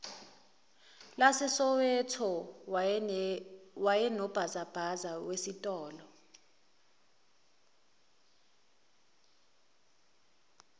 lasesoweto wayenobhazabhaza wesitolo